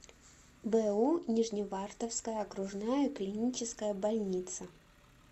бу нижневартовская окружная клиническая больница